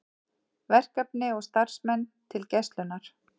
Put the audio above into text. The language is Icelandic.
Verkefni og starfsmenn til Gæslunnar